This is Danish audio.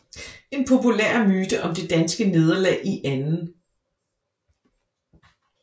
En populær myte om det danske nederlag i 2